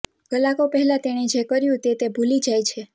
કલાકો પહેલા તેણે જે કર્યું તે તે ભૂલી જાય છે